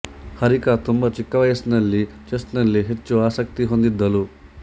ಹರಿಕಾ ತುಂಬಾ ಚಿಕ್ಕ ವಯಸ್ಸಿನಲ್ಲಿ ಚೆಸ್ ನಲ್ಲಿ ಹೆಚ್ಚು ಆಸಕ್ತಿ ಹೊಂದಿದ್ದಳು